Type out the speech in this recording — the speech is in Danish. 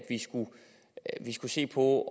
vi skulle se på